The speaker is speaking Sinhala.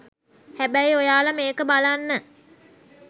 හැබැයි ඔයාල මේක බලන්න